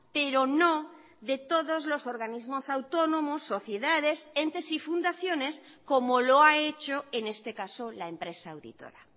pero no de todos los organismos autónomos sociedades entes y fundaciones como lo ha hecho en este caso la empresa auditora